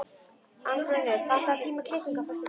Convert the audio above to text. Arngunnur, pantaðu tíma í klippingu á föstudaginn.